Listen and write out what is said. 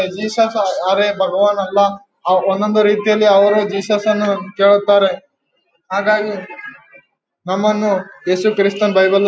Jesus ಅವರೆ ಭಗವಾನ್ ಅಲ್ಲ ಒಂದೊಂದು ರೀತಿ ಯಲ್ಲಿ ಅವರು ಜೀಸಸ್ ಅನ್ನು ಕೇಳುತ್ತಾರೆ ಹಾಗಾಗಿ ನಮ್ಮನ್ನು ಎಸು ಕ್ರಿಸ್ತ ಬೈಬಲ್ --